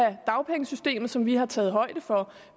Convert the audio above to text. af dagpengesystemet som vi har taget højde for